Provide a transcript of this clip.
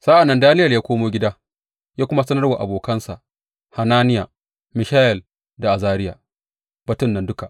Sa’an nan Daniyel ya komo gida ya kuma sanar wa abokansa Hananiya, Mishayel da Azariya, batun nan duka.